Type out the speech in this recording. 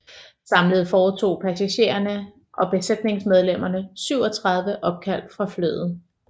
Samlet foretog passagererne og besætningsmedlemmerne 37 opkald fra flyet